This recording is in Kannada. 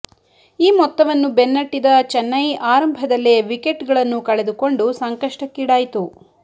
ಈ ಮೊತ್ತವನ್ನು ಬೆನ್ನಟ್ಟಿದ ಚೆನ್ನೈ ಆರಂಭದಲ್ಲೇ ವಿಕೆಟ್ ಗಳನ್ನೂ ಕಳೆದುಕೊಂಡು ಸಂಕಷ್ಟಕ್ಕೀಡಾಯಿತು